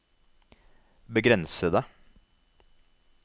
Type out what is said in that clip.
begrensede